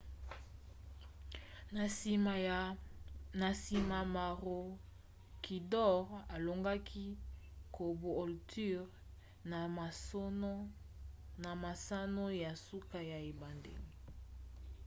na nsima maroochydore alongaki caboolture na masano ya suka ya ebandeli